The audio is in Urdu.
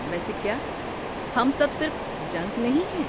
ویسے کیا ہم سب صرف جنک نہیں ہیں؟